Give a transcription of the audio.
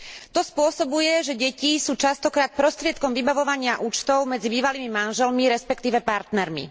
To spôsobuje, že deti sú často krát prostriedkom vybavovania účtov medzi bývalými manželmi, respektíve partnermi.